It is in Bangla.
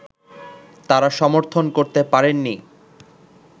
তাঁরা সমর্থন করতে পারেননি